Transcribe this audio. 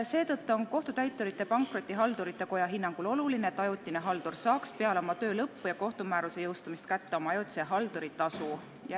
Seetõttu on Kohtutäiturite ja Pankrotihaldurite Koja hinnangul oluline, et ajutine haldur saaks peale oma töö lõppu ja kohtumääruse jõustumist kätte oma ajutise halduri tasu.